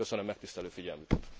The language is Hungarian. Köszönöm megtisztelő figyelmüket.